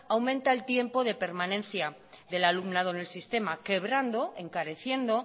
aumenta el tiempo de permanencia del alumnado en el sistema quebrando encareciendo